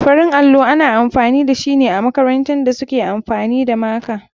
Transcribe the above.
Farin allo ana amfani dashine amakarantan da suke amfani da maka.